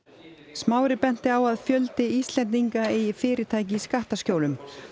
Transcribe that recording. smári benti á að fjöldi Íslendinga eigi fyrirtæki í skattaskjólum